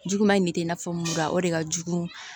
Juguman in de tɛ i n'a fɔ mura o de ka jugu